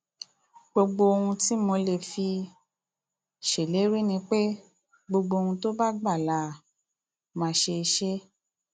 gbogbo ohun tí mo lè fi um ṣèlérí ni pé gbogbo ohun tó bá gbà la um máa ṣe ṣe